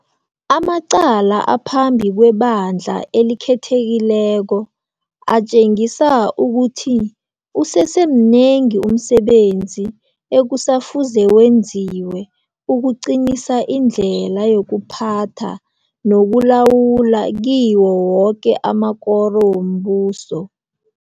Amacala aphambi kweBandla eliKhethekileko atjengisa ukuthi usesemnengi umsebenzi ekusafuze wenziwe ukuqinisa indlela yokuphatha nokulawula kiwo woke amakoro wombuso.